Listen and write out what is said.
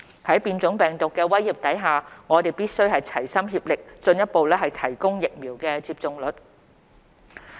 在變種病毒的威脅下，我們必須齊心協力進一步提高疫苗接種率。